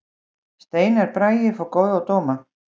Steinar Bragi fær góða dóma